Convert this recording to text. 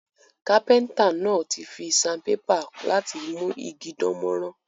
Carpenter náà ti fi sandpaper láti mú igi dánmórán